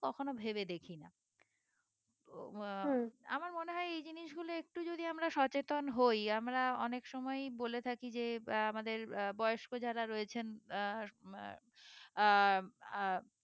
কখনো ভেবে দেখিনা ও আহ আমার মনে হয় এই জিনিসগুলো একটু যদি আমরা সচেতন হই, আমরা অনেক সময়ই বলে থাকি যে আহ আমাদের আহ বয়স্ক যারা রয়েছেন আহ আহ আহ